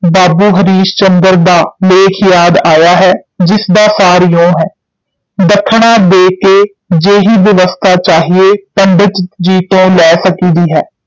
ਬਾਬੂ ਹਰੀਸ਼ ਚੰਦਰ ਦਾ ਲੇਖ ਯਾਦ ਆਇਆ ਹੈ, ਜਿਸ ਦਾ ਸਾਰ ਇਉਂ ਹੈ, ਦੱਖਣਾ ਦੇ ਕੇ ਜੇਹੀ ਬਿਵਸਥਾ ਚਾਹੀਏ, ਪੰਡਿਤ ਜੀ ਤੋਂ ਲੈ ਸਕੀਦੀ ਹੈ।